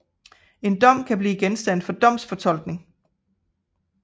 En dom kan blive genstand for domsfortolkning